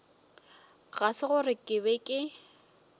ga se gore ke be